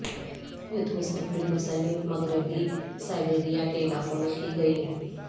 youth مستقبل مصنف مغربی سائبیریا کے علاقوں میں کی گئیں